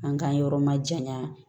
An k'an yɔrɔ ma janya